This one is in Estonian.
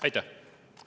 Aitäh!